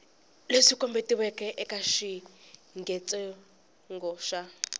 leswi kombetiweke eka xiyengentsongo xa